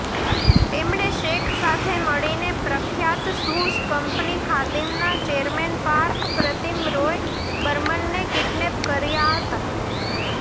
તેમણે શેખ સાથે મળીને પ્રખ્યાત શૂઝ કંપની ખાદિમના ચેરમેનપાર્થ પ્રતીમ રોય બર્મનને કિડનેપ કર્યા હતાં